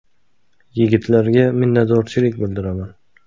Yigitlarga minnatdorchilik bildiraman.